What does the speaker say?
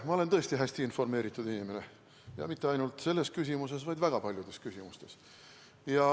Ma olen tõesti hästi informeeritud inimene ja mitte ainult selles küsimuses, vaid väga paljudes küsimustes.